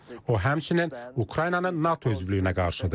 O həmçinin Ukraynanın NATO üzvlüyünə qarşıdır.